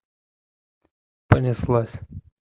понеслась